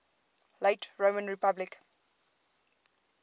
late roman republic